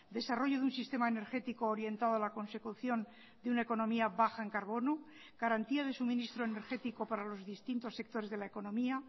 desarrollo de un sistema energético orientado a la consecución de una economía baja en carbono garantía de suministro energético para los distintos sectores de la economía